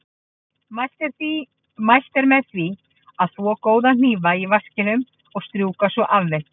Mælt er með því að þvo góða hnífa í vaskinum og strjúka svo af þeim.